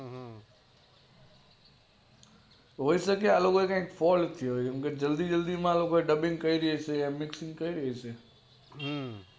હોય શકે આ લોકો એ કોઈ fault કર્યો હોય જલ્દી જલ્દી માં dubbing કરી હશે